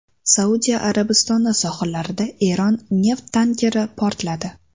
Saudiya Arabistoni sohillarida Eron neft tankeri portladi.